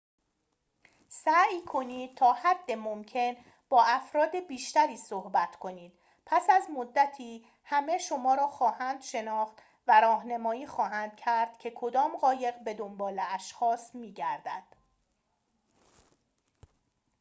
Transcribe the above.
سعی کنید تا حد ممکن با افراد بیشتری صحبت کنید پس از مدتی همه شما را خواهند شناخت و راهنمایی خواهند کرد که کدام قایق به دنبال اشخاص می‌گردد